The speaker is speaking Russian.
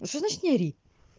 а что значит не ори